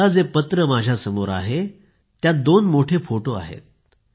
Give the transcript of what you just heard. आता जे पत्र माझ्यासमोर आहे त्यात दोन मोठे फोटो आहेत